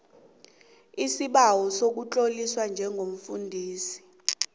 isibawo sokutloliswa njengomfundisi